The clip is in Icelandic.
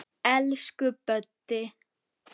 Elsku Böddi.